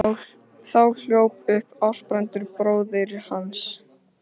Þá hljóp upp Ásbrandur bróðir hans.